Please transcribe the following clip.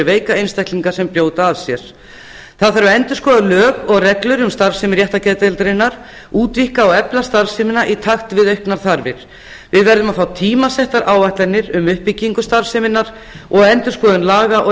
veika einstaklinga sem brjóta af sér endurskoða þarf lög og reglur um starfsemi réttargeðdeildarinnar útvíkka og efla starfsemina í takt við auknar þarfir við verðum að fá tímasettar áætlanir um uppbyggingu starfseminnar og um endurskoðun laga og